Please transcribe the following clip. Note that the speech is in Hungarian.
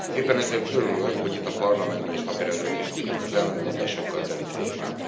Éppen ezért örülök, hogy itt a Parlamentben is napirendre tűztük ezt az ellentmondásokkal teli témát.